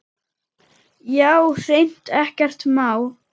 Já, hreint ekkert má.